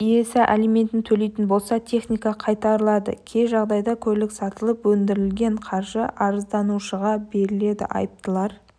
иесі алиментін төлейтін болса техника қайтарылады кей жағдайда көлік сатылып өндірілген қаржы арызданушыға беріледі айыптылар